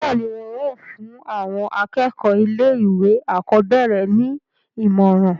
bẹ́ẹ̀ni, wọn yóò fún àwọn akẹ́kọ̀ọ́ ilé ìwé àkọ́bẹ̀rẹ̀ ní ìmọ̀ràn